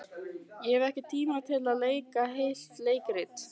Ég hef ekki tíma til að leika heilt leikrit.